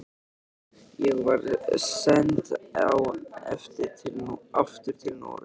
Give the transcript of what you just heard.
Ég var send aftur til Noregs.